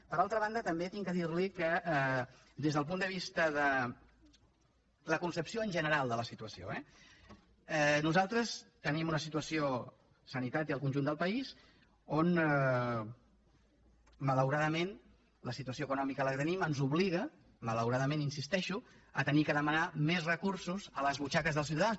per altra banda també haig de dir li que des del punt de vista de la concepció general de la situació eh nosaltres tenim una situació sanitat i el conjunt del país on malauradament la situació econòmica que tenim ens obliga malauradament hi insisteixo a haver de demanar més recursos a les butxaques dels ciutadans